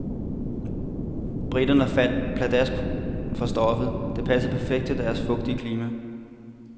Briterne faldt pladask for stoffet, der passede perfekt til deres fugtige klima.